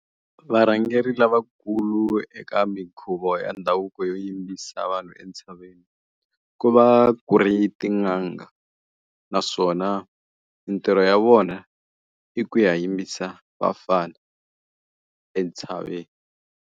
Varhangeri lavakulu eka minkhuvo ya ndhavuko yo yimbisa vanhu entshaveni, ku va ku ri tin'anga. Naswona mintirho ya vona, i ku ya yimbisa vafana entshaveni.